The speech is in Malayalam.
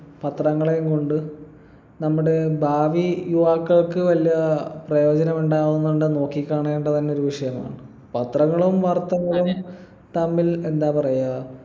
പത്രങ്ങളെയും കൊണ്ട് നമ്മുടെ ഭാവി യുവാക്കൾക്ക് വല്ല പ്രയോജനമുണ്ടാകുന്നുണ്ടൊ നോക്കിക്കാണേണ്ട തന്നെ ഒരു വിഷയമാണ് പത്രങ്ങളും വാർത്തകളും തമ്മിൽ എന്താ പറയാ